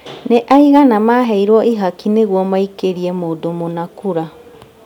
Nĩ aigana maheirwo ihaki nĩguo maikĩrie mũndũ mũna kura